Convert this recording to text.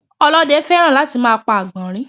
Ọlóde fẹ́ràn láti máa pa Àgbọ̀nrín